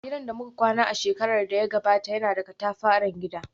Gidan da muka kwana a shekarar da ta gabata yana da katafaren gida